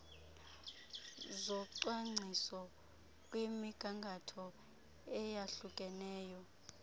zocwangciso kwimigangatho eyahlukeneyo